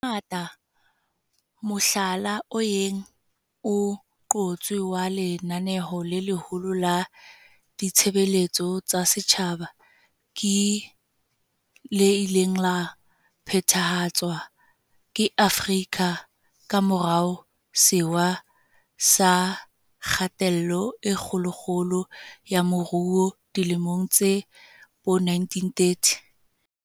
Hangata mohlala o yeng o qotswe wa lenaneo le leholo la ditshebeletso tsa setjhaba ke le ileng la phethahatswa ke Amerika ka morao Sewa sa Kgatello e Kgolokgolo ya Moruo dilemong tsa bo1930.